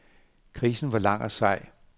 Krisen var lang og sej.